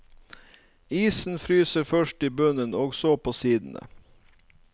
Isen fryser først i bunnen og så på sidene.